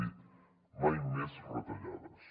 ha dit mai més retallades